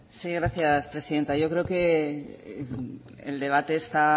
sí gracias presidenta yo creo que el debate está